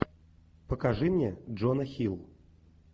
покажи мне джона хилл